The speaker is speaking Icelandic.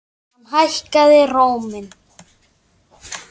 Hann hækkaði róminn.